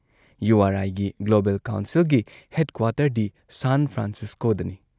U R ꯑꯥꯏꯒꯤ global ꯀꯥꯎꯟꯁꯤꯜꯒꯤ head ꯀ꯭ꯋꯥꯇꯔꯗꯤ ꯁꯥꯟ ꯐ꯭ꯔꯥꯟꯁꯤꯁꯀꯣꯗꯅꯤ ꯫